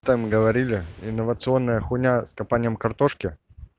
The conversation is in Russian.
там говорили инновационная хуйня с копанием картошки